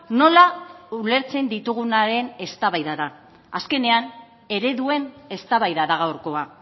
nola ulertzen ditugunaren eztabaida da azkenean ereduen eztabaida da gaurkoa